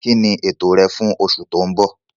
Kíni ètò rẹ fún oṣù tó ń bọ̀?